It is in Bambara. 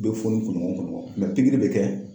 U be fo ni kunɲɔgɔn ni kunɲɔgɔn. pikiri be kɛ